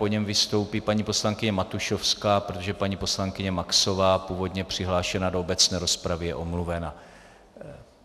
Po něm vystoupí paní poslankyně Matušovská, protože paní poslankyně Maxová, původně přihlášená do obecné rozpravy, je omluvena.